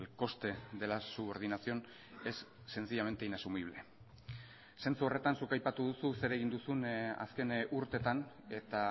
coste de la subordinación es sencillamente inasumible zentzu horretan zuk aipatu duzu zer egin duzun azken urteetan eta